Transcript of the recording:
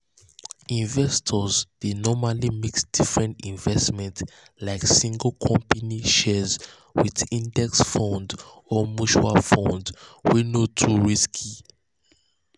investors dey normally mix different investments like single company shares with index funds or mutual funds wey no too risky.